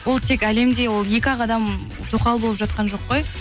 бұл тек әлемде ол екі ақ адам тоқал болып жатқан жоқ қой